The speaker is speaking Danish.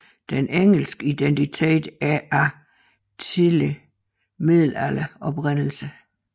Den engelske identitet er af tidlig middelalderlig oprindelse